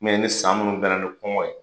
ni san minnu bɛnna ni fana ni kɔngɔ ye.